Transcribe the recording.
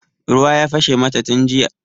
Ruwa ya fashe mata tun jiya.